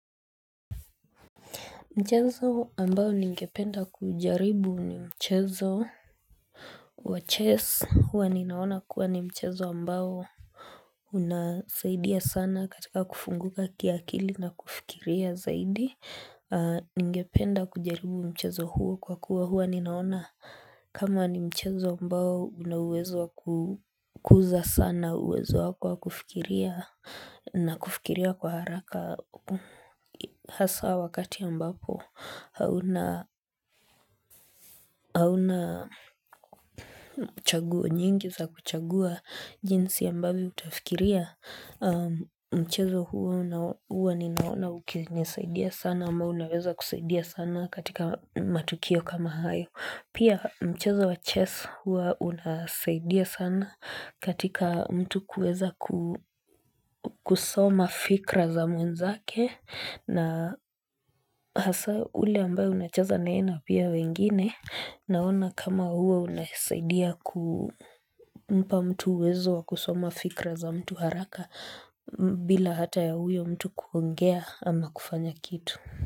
Mchezo ambayo ningependa kujaribu ni mchezo wa chess huwa ninaona kuwa ni mchezo ambayo unasaidia sana katika kufunguka kiakili na kufikiria zaidi ningependa kujaribu mchezo huu kwa kuwa huwa ninaona kama ni mchezo ambayo una uwezo wa kukuza sana uwezo wako kwa kufikiria na kufikiria kwa haraka Kwa hasa wakati ya ambapo hauna chaguo nyingi za kuchagua jinsi ambavyo utafikiria mchezo huwa ninaona ukinisaidia sana ama unaweza kusaidia sana katika matukio kama hayo. Pia mchezo wa chess hua unasaidia sana katika mtu kuweza kusoma fikra za mwenzake na hasa ule ambayo unacheza naena pia wengine naona kama hua unasaidia kumpa mtu uwezo wa kusoma fikra za mtu haraka bila hata ya huyo mtu kuongea ama kufanya kitu.